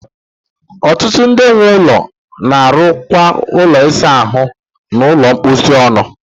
Ọtụtụ ndị nwe ụlọ na-arụkọ ụlọ ịsa ahụ na ụlọ mposi ọnụ